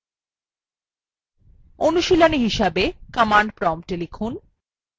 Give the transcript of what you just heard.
অনুশীলনী হিসাবে command prompt লিখুন